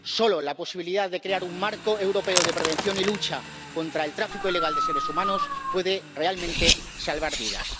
Solo la posibilidad de crear un marco europeo de prevención y lucha contra el tráfico ilegal de seres humanos puede realmente salvar vidas.